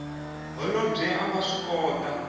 holobye a nga swi kota